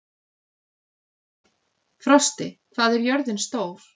Frosti, hvað er jörðin stór?